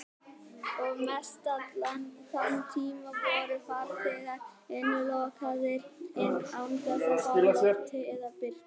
Og mestallan þann tíma voru farþegar innilokaðir án þess að fá loft eða birtu.